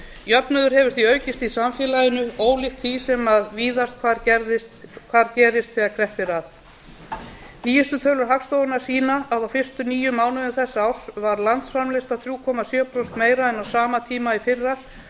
jöfnuður hefur því aukist í samfélaginu ólíkt því sem víðast hvar gerist þegar kreppt er að síðustu tölur hagstofunnar sýna að á fyrstu níu mánuðum þessa árs var landsframleiðsla þrjú komma sjö prósentum meiri en á sama tíma í fyrra